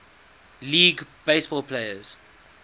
league baseball players